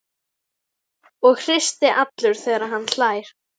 Og hristist allur þegar hann hlær.